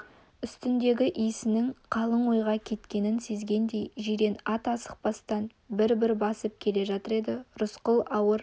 үстіндегі иесінің қалың ойға кеткенін сезгендей жирен ат асықпастан бір-бір басып келе жатыр еді рысқұл ауыр